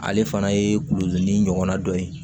Ale fana ye kulodon ni ɲɔgɔnna dɔ ye